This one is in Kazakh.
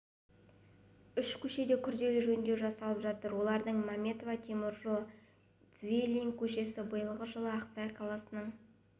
үш көшеде күрделі жөндеу жасалып жатыр олар мәметова теміржол және цвилинг көшесі биылғы жылы ақсай қаласының